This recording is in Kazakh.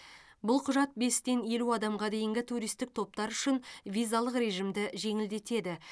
бұл құжат бестен елу адамға дейінгі туристік топтар үшін визалық режимді жеңілдетеді